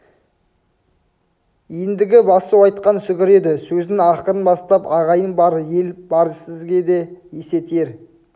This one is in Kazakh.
ендігі басу айтқан сүгір еді сөзін ақырын бастап ағайын бар ел бар бізге де есе тиер